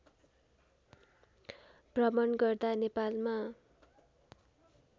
भ्रमण गर्दा नेपालमा